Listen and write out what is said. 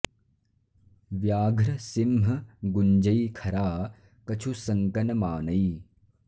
ब्याघ्र सिंह गुंजै खरा कछु संक न मानै